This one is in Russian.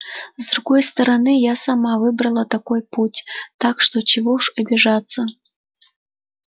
с другой стороны я сама выбрала такой путь так что чего уж обижаться